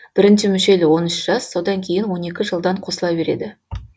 бірінші мүшел он үш жас содан кейін он екі жылдан қосыла береді